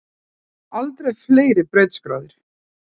Aldrei fleiri brautskráðir